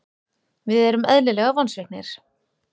Við erum eðlilega vonsviknir.